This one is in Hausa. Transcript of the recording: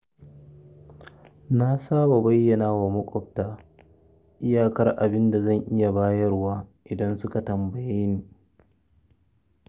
Na saba bayyana wa maƙwabta iyakar abin da zan iya bayarwa idan suka tambaye ni.